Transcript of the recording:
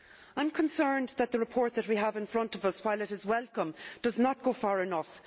I am concerned that the report that we have in front of us, while it is welcome, does not go far enough.